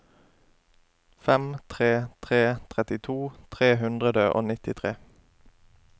fem tre tre tre trettito tre hundre og nittitre